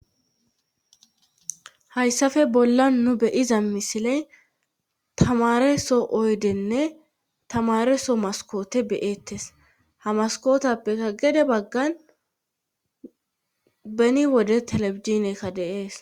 Hayssafe bolla nu beyiza misile tamareso oydenne tamareso maskoote beyeettes hamaskootappeka gede baggan beni wode telebizinekka deees.